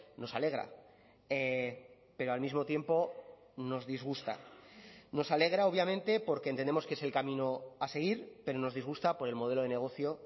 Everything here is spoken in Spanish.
nos alegra pero al mismo tiempo nos disgusta nos alegra obviamente porque entendemos que es el camino a seguir pero nos disgusta por el modelo de negocio